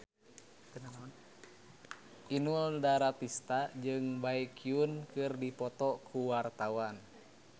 Inul Daratista jeung Baekhyun keur dipoto ku wartawan